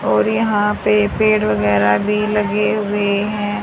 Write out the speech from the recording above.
और यहां पे पेड़ वगैरा भी लगे हुए हैं।